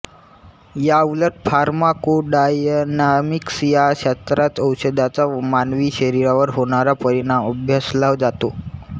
याउलट फार्माकोडायनामिक्स या शास्त्रात औषधांचा मानवी शरीरावर होणारा परिणाम अभ्यासला जातो